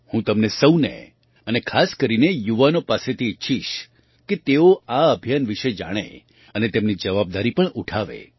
હું તમને સહુને અને ખાસ કરીને યુવાનો પાસેથી ઈચ્છીશ કે તેઓ આ અભિયાન વિશે જાણે અને તેમની જવાબદારી પણ ઉઠાવે